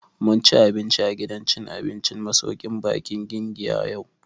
Mun ci abinci a gidan cin abincin masauƙin baƙin Giginya yau